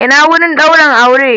Ina wurin daurin aure?